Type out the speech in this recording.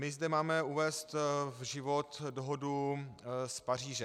My zde máme uvést v život dohodu z Paříže.